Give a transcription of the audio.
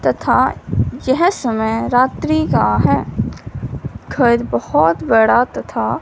तथा यह समय रात्रि का है घर बहोत बड़ा तथा--